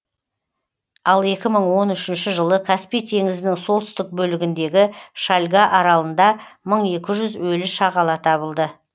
ал екі мың он үшінші жылы каспий теңізінің солтүстік бөлігіндегі шальга аралында мың екі жүз өлі шағала табылды